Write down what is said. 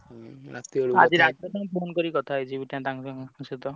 ଆଜି ରାତିରେ phone କରିକି କଥା ହେଇଯିବି ତାଂକ ସହିତ।